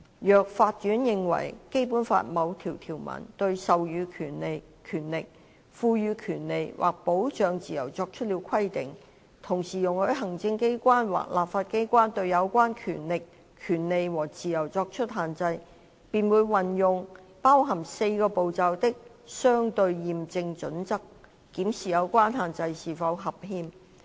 若法院認為《基本法》某項條文對授予權力、賦予權利或保障自由作出了規定，同時容許行政機關或立法機關對有關權力、權利和自由作出限制，便會運用包含4個步驟的"相稱驗證準則"，檢視有關限制是否合憲。